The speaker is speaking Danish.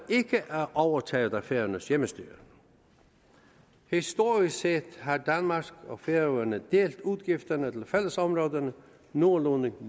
ikke er overtaget af færøernes hjemmestyre historisk set har danmark og færøerne delt udgifterne til fællesområderne nogenlunde